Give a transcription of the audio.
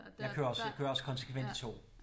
Jeg kører også jeg kører også konsekvent i tog